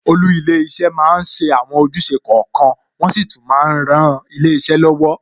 Olú ilé iṣẹ́ máa ń ṣe àwọn ojúṣe kọ̀ọ̀kan, wọn sì tún máa ń ran ilé iṣẹ́ lọ́wọ́.